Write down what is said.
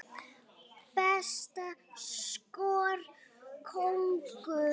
Besta skor, konur